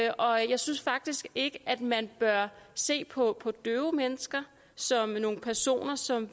og jeg synes faktisk ikke at man bør se på døve mennesker som nogle personer som